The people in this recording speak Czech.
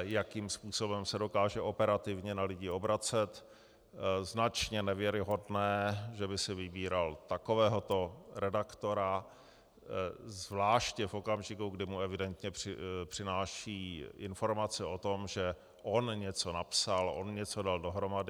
jakým způsobem se dokáže operativně na lidi obracet, značně nevěrohodné, že by si vybíral takovéhoto redaktora, zvláště v okamžiku, kdy mu evidentně přináší informace o tom, že on něco napsal, on něco dal dohromady.